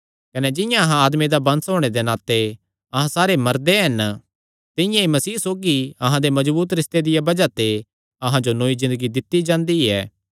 कने जिंआं अहां आदमे दा वंश होणे दे नाते अहां सारे मरदे हन तिंआं ई मसीह सौगी अहां दे मजबूत रिस्ते दिया बज़ाह ते अहां जो नौई ज़िन्दगी दित्ती जांदी ऐ